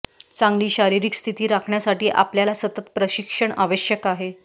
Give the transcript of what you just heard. चांगली शारीरिक स्थिती राखण्यासाठी आपल्याला सतत प्रशिक्षण आवश्यक आहे